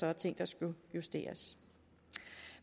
er ting der skal justeres